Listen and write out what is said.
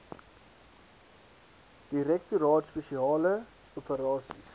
direktoraat spesiale operasies